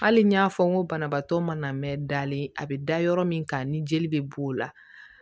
Hali n y'a fɔ n ko banabaatɔ mana mɛn dalen a bɛ da yɔrɔ min kan ni jeli bɛ b'o la